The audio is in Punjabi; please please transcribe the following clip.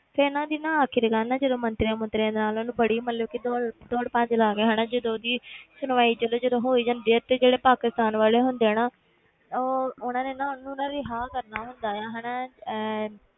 ਤੇ ਇਹਨਾਂ ਦੀ ਨਾ ਆਖ਼ਿਰਕਾਰ ਨਾ ਜਦੋਂ ਮੰਤਰੀਆਂ ਮੁੰਤਰੀਆਂ ਨਾਲ ਉਹਨੂੰ ਬੜੀ ਮਤਲਬ ਕਿ ਦੌੜ ਦੌੜ ਭੱਜ ਲਾ ਕੇ ਹਨਾ ਜਦੋਂ ਉਹਦੀ ਸੁਣਵਾਈ ਚਲੋ ਜਦੋਂ ਹੋ ਜਾਂਦੀ ਤੇ ਜਿਹੜੇ ਪਾਕਿਸਤਾਨ ਵਾਲੇ ਹੁੰਦੇ ਆ ਨਾ ਉਹ ਉਹਨਾਂ ਨੇ ਨਾ ਉਹਨੂੰ ਨਾ ਰਿਹਾ ਕਰਨਾ ਹੁੰਦਾ ਹੈ ਹਨਾ ਅਹ